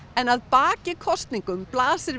en að baki kosningum blasir